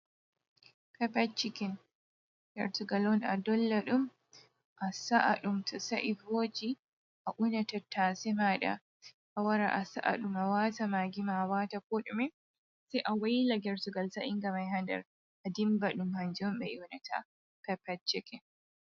Pepe-cikin, gertugal on a dolla ɗum, a sa’a ɗum to sa'i vooji, a una tattaase maaɗa, a wara a sa’a ɗum a waata magi ma, a waata ko ɗume sai a waila gertugal sa'inga mai ha nder a dimba ɗum, hanjum on ɓe ƴoonata pepe-cikin.